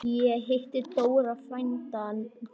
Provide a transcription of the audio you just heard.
Ég hitti Dóra frænda þinn.